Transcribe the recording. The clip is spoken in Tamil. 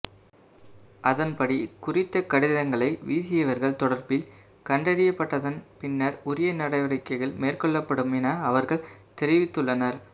அதன்படி குறித்த கடிதங்களை வீசியவர்கள் தொடர்பில் கண்டறியப்பட்டதன் பின்னர் உரிய நடவடிக்கைகள் மேற்கொள்ளப்படும் என அவர்கள் தெரிவித்துள்ளனர்